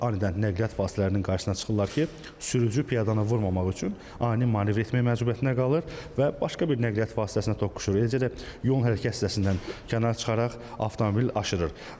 Anidən nəqliyyat vasitələrinin qarşısına çıxırlar ki, sürücü piyadanı vurmamaq üçün ani manevr etmək məcburiyyətinə qalır və başqa bir nəqliyyat vasitəsinə toqquşur, eləcə də yol hərəkəti hissəsindən kənara çıxaraq avtomobil aşırır.